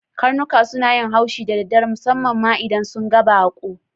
Karnuka suna yin haushi da daddare, musammam ma idan sun ga bakon.